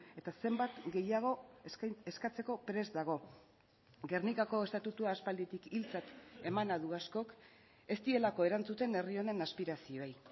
eta zenbat gehiago eskatzeko prest dago gernikako estatutua aspalditik hiltzat emana du askok ez dielako erantzuten herri honen aspirazioei